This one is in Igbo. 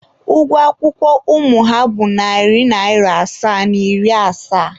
Ụgwọ akwụkwọ ụmụ ha bụ narị naira asaa na iri asaa.